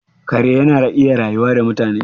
Kare yana iya rayuwa da mutane?